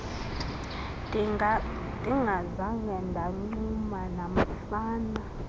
ndingazanga ndancuma namfana